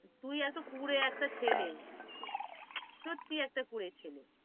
তুই এতো কুড়ে একটা ছেলে সত্যি একটা কুড়ে ছেলে,